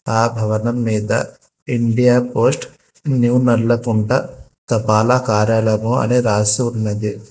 ఆ భవనం మీద ఇండియా పోస్ట్ న్యూ నల్లకుంట తపాలా కార్యాలయం అని రాసి ఉన్నది.